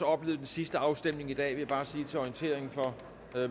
oplevet den sidste afstemning for i dag vil jeg bare sige til orientering for